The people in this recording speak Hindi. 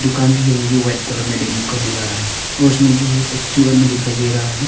दुकान जो है मुझे व्हाइट कलर में देखने को मिल रहा है और उसमें जो है एक ठो आदमी दिखाई दे रहा है।